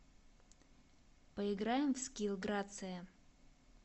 поиграем в скилл грация